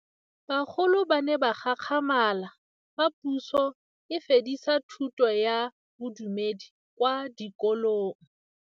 Bagolo ba ne ba gakgamala fa Pusô e fedisa thutô ya Bodumedi kwa dikolong.